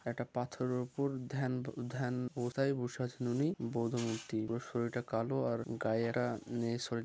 একটা পাথরের উপর ধ্যান ধ্যান কোথায় বসে আছেন ওনি বোধ মূর্তি ওর শরীর তা কালো আর গায়েরা উম- শরী--